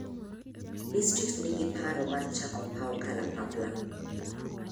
Distrikt ni gi paro mar chako paw kalapapla.